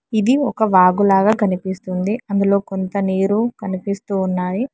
ఇది ఒక వాగు లాగా కనిపిస్తుంది అందులో కొంత నీరు కనిపిస్తూ ఉన్నాయి.